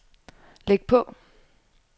læg på